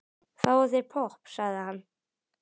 Fáðu þér popp, sagði hann.